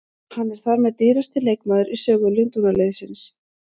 Hann er þar með dýrasti leikmaðurinn í sögu Lundúnarliðsins.